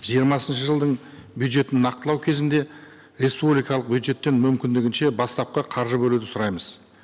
жиырмасыншы жылдың бюджетін нақтылау кезінде республикалық бюджеттен мүмкіндігінше бастапқы қаржы бөлуді сұраймыз